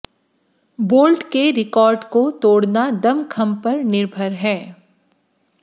bolt के record को तोड़ना दमखम पर निर्भर है